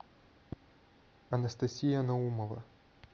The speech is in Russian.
анастасия наумова